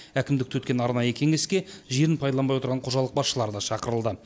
әкімдікте өткен арнайы кеңеске жерін пайдаланбай отырған қожалық басшылары да шақырылды